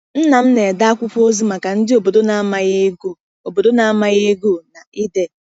Nna m na-ede akwụkwọ ozi maka ndị obodo na-amaghị ịgụ obodo na-amaghị ịgụ na ide.